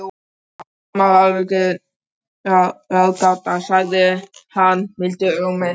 Daman er ráðgáta, sagði hann mildum rómi.